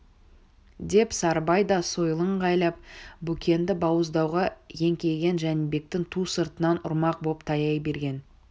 деп сарыбай да сойылын ыңғайлап бөкенді бауыздауға еңкейген жәнібектің ту сыртынан ұрмақ боп таяй берген